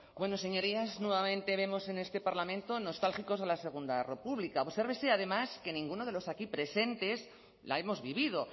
bueno señorías nuevamente vemos en este parlamento nostálgicos de la segunda república obsérvese además que ninguno de los aquí presentes la hemos vivido